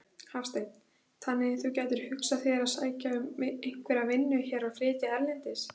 Hafsteinn: Þannig þú gætir hugsað þér að sækja um einhverja vinnu hér og flytja erlendis?